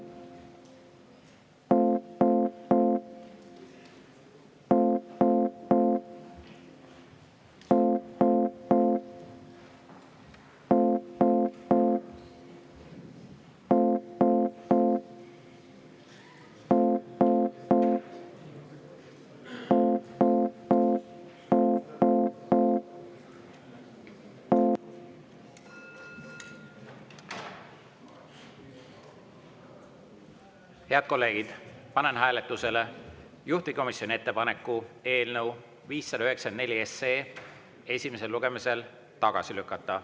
Head kolleegid, panen hääletusele juhtivkomisjoni ettepaneku eelnõu 594 esimesel lugemisel tagasi lükata.